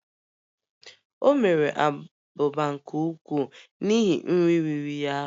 O mere abụba nke ukwuu n'ihi nri riri ya ahụ